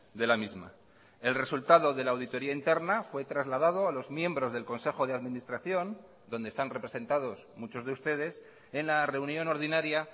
de la misma el resultado de la auditoría interna fue trasladado a los miembros del consejo de administración donde están representados muchos de ustedes en la reunión ordinaria